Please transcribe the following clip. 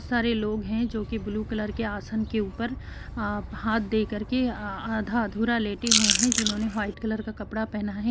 सारे लोग हैं जो कि ब्लू कलर के आसन के ऊपर अ हाथ दे करके आ आधा-अधूरा लेटे हुए हैं जिन्होंने व्हाइट कलर का कपड़ा पहना है।